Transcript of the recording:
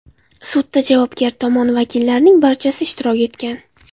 Sudda javobgar tomon vakillarining barchasi ishtirok etgan.